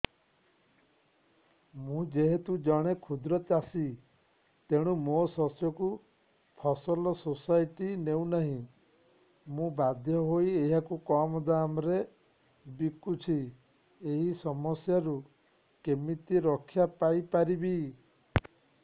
ମୁଁ ଯେହେତୁ ଜଣେ କ୍ଷୁଦ୍ର ଚାଷୀ ତେଣୁ ମୋ ଶସ୍ୟକୁ ଫସଲ ସୋସାଇଟି ନେଉ ନାହିଁ ମୁ ବାଧ୍ୟ ହୋଇ ଏହାକୁ କମ୍ ଦାମ୍ ରେ ବିକୁଛି ଏହି ସମସ୍ୟାରୁ କେମିତି ରକ୍ଷାପାଇ ପାରିବି